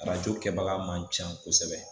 Arajo kɛbaga man ca kosɛbɛ